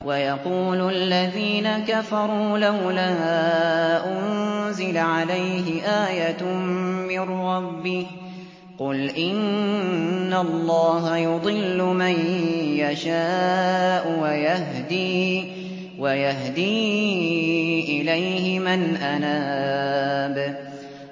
وَيَقُولُ الَّذِينَ كَفَرُوا لَوْلَا أُنزِلَ عَلَيْهِ آيَةٌ مِّن رَّبِّهِ ۗ قُلْ إِنَّ اللَّهَ يُضِلُّ مَن يَشَاءُ وَيَهْدِي إِلَيْهِ مَنْ أَنَابَ